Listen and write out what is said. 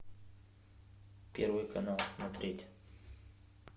первый канал смотреть